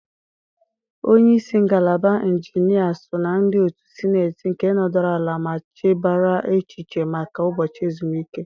Onye isi ngalaba injinia so na ndị otu Sịneetị nke nọdụrụ ala ma chebara echiche maka ụbọchị ezumike.